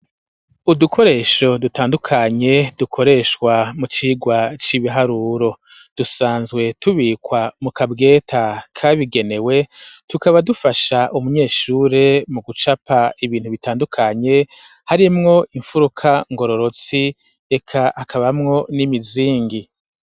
Udukoresho dutandukanye dukoreshwa mu cirwa c'ibiharuro dusanzwe tubikwa mu kabweta kabigenewe tukaba dufasha umunyeshure mu gucapa ibintu bitandukanye harimwo imfuruka ngororotsi eka hakabamwo n'imizingi